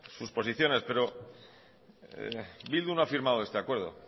sus posiciones pero bildu no ha firmado este acuerdo